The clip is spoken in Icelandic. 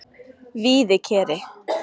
Víðikeri